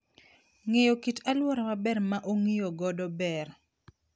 Ng'eyo kit alwora maber ma ong'iyo godo ber.